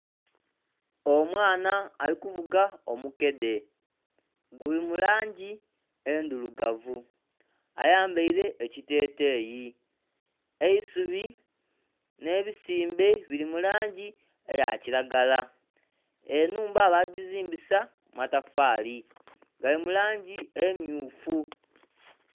Omwana ali kuvuga omukedhe guli mu langi endhirugavu, ayambaire ekiteteeyi. Eisubi n'ebisimbe biri mu langi eya kiragala, enhumba baagizimbisa matafaali gali mu langi emmyufu.